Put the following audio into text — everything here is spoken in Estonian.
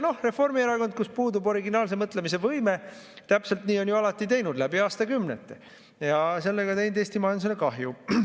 Reformierakond, kus puudub originaalse mõtlemise võime, täpselt nii on ju alati teinud, läbi aastakümnete, ja sellega teinud Eesti majandusele kahju.